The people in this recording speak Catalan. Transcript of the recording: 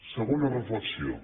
segona reflexió